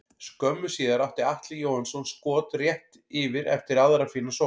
Skömmu síðar átti Atli Jóhannsson skot rétt yfir eftir aðra fína sókn.